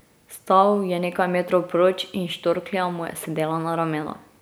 Stal je nekaj metrov proč in štorklja mu je sedela na ramenu.